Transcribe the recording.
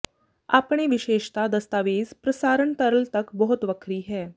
ਆਪਣੇ ਵਿਸ਼ੇਸ਼ਤਾ ਦਸਤਾਵੇਜ਼ ਪ੍ਰਸਾਰਣ ਤਰਲ ਤੱਕ ਬਹੁਤ ਵੱਖਰੀ ਹੈ